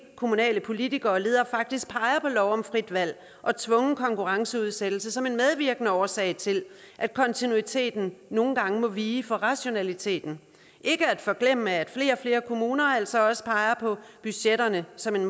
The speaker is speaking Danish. kommunale politikere og ledere faktisk peger på lov om frit valg og tvungen konkurrenceudsættelse som en medvirkende årsag til at kontinuiteten nogle gange må vige for rationaliteten ikke at forglemme at flere og flere kommuner altså også peger på budgetterne som en